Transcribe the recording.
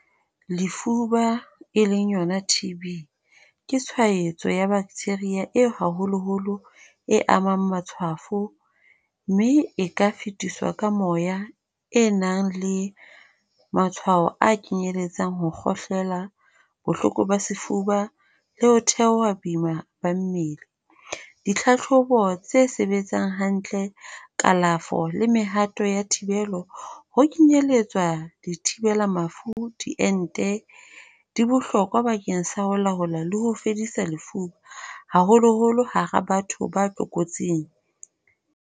Lefuba e leng yona T_B, ke tshwaetso ya bacteria eo haholoholo e amang matshwafo. Mme e ka fetiswa ka moya e nang le matshwao a kenyeletsang ho kgohlela, bohloko ba sefuba le ho theoha boima ba mmele. Ditlhahlobo tse sebetsang hantle. kalafo le mehato ya thibelo, ho kenyelletswa dithibela mafu, diente, di bohlokwa bakeng sa ho laola le ho fedisa lefuba, haholoholo hara batho ba tlokotsing.